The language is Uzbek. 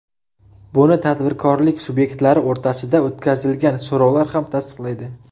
Buni tadbirkorlik subyektlari o‘rtasida o‘tkazilgan so‘rovlar ham tasdiqlaydi.